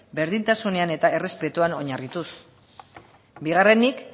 berdintasunean eta errespetuan oinarrituz bigarrenik